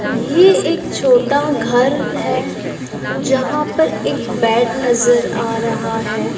ये एक छोटा घर है जहां पर एक बेड नजर आ रहा है।